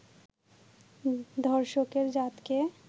ধর্ষকের জাতকে